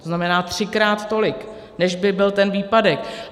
To znamená třikrát tolik, než by byl ten výpadek.